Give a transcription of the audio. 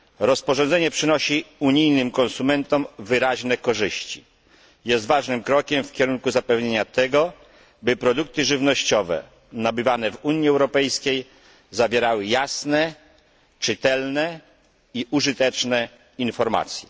Rozporządzenie przynosi unijnym konsumentom wyraźne korzyści, jest ważnym krokiem w kierunku zapewnienia tego, by produkty żywnościowe nabywane w Unii Europejskiej zawierały jasne, czytelne i użyteczne informacje.